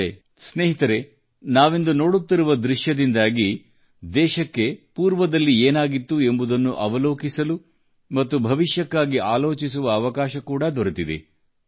ಆದರೆ ಸ್ನೇಹಿತರೆ ನಾವಿಂದು ನೋಡುತ್ತಿರುವ ದೃಶ್ಯದಿಂದಾಗಿ ದೇಶಕ್ಕೆ ಹಿಂದೆ ಏನಾಗಿತ್ತು ಎಂಬುದನ್ನು ಅವಲೋಕಿಸಲು ಮತ್ತು ಭವಿಷ್ಯಕ್ಕಾಗಿ ಆಲೋಚಿಸುವ ಅವಕಾಶ ಕೂಡಾ ದೊರೆತಿದೆ